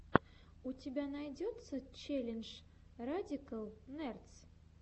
у тебя найдется челлендж радикал нердс